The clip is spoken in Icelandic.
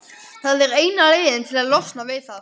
Það er eina leiðin til að losna við það.